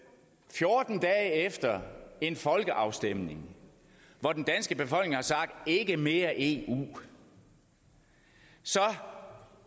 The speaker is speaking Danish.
fjorten dage efter en folkeafstemning hvor den danske befolkning har sagt ikke mere eu så